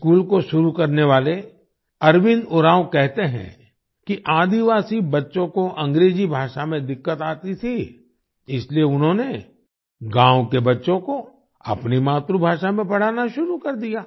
इस स्कूल को शुरु करने वाले अरविन्द उरांव कहते हैं कि आदिवासी बच्चों को अंग्रेजी भाषा में दिक्कत आती थी इसलिए उन्होंने गांव के बच्चों को अपनी मातृभाषा में पढ़ाना शुरू कर दिया